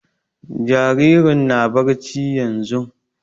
Jaririn na barci yanzun